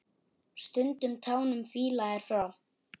Stundum tánum fýla er frá.